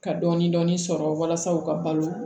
Ka dɔɔnin dɔɔnin sɔrɔ walasa u ka balo